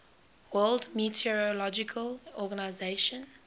world meteorological organization